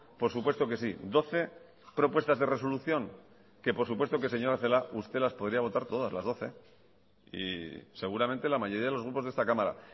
por supuesto que sí doce propuestas de resolución que por supuesto que señora celaá usted las podría votar todas las doce y seguramente la mayoría de los grupos de esta cámara